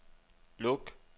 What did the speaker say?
luk